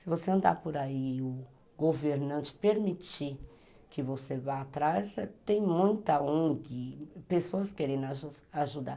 Se você andar por aí, o governante permitir que você vá atrás, tem muita ongui, pessoas querendo ajudar.